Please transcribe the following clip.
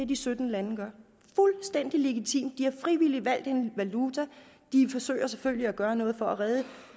de sytten lande gør fuldstændig legitimt de har frivilligt valgt en valuta og de forsøger selvfølgelig at gøre noget for at redde